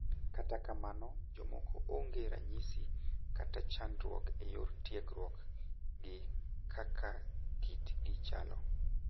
Kata kamano jomoko ong'e gi ranyisi, kata chandruok e yor tiegruok gi kaka kit gi chalo.